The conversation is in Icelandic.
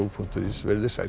punktur is verið þið sæl